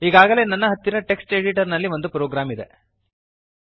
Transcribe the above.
ಈಗಾಗಲೇ ನನ್ನ ಹತ್ತಿರ ಟೆಕ್ಸ್ಟ್ ಎಡಿಟರ್ ನಲ್ಲಿ ಒಂದು ಪ್ರೋಗ್ರಾಂ ಇದೆ